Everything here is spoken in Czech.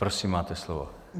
Prosím, máte slovo.